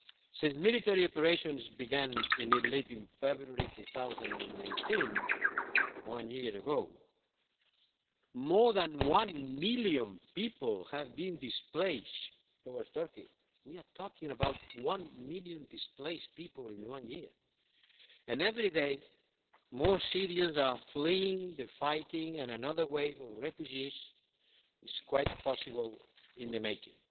Since military operations began in Idlib in February 2019, one year ago, more than one million people have been displaced towards Turkey we are talking about one million displaced people in one year and every day more Syrians are fleeing the fighting and another wave of refugees is quite possibly in the making.